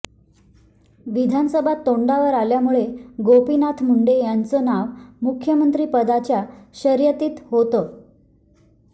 विधानसभा तोंडावर आल्यामुळे गोपीनाथ मुंडे यांचं नाव मुख्यमंत्रीपदाच्या शर्यतीत होतं